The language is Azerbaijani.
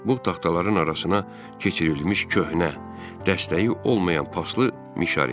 Bu taxtaların arasına keçirilmiş köhnə, dəstəyi olmayan paslı mişar idi.